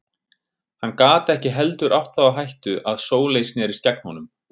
Hann gat ekki heldur átt það á hættu að Sóley snerist gegn honum.